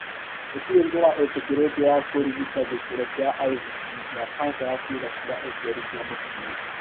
Gũtirĩ njĩra ĩtĩkĩrĩtio ya kũrigita gĩkĩro kĩa IVB gĩa kanca ya ciĩga cia ũciari cia mũtumia.